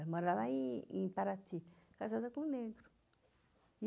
Ela mora em em Paraty, casada com um negro.